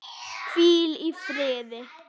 Hvíl í firði.